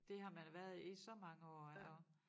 Det har man været i så mange år og